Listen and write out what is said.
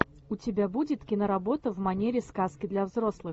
у тебя будет киноработа в манере сказки для взрослых